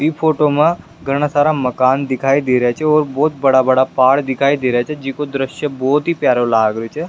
ई फोटो मा घणा सारा मकान दिखाई दे रिया छे और बहोत बड़ा बड़ा पहाड़ दिखाई दे रिया छे जिको दृश्य बहोत ही प्यारो लाग रहियो छे।